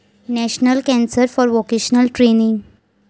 national council for vocational training